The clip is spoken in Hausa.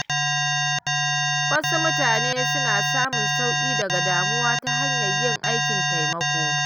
Wasu mutane suna samun sauƙi daga damuwa ta hanyar yin aikin taimako.